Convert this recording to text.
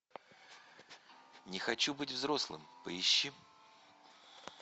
не хочу быть взрослым поищи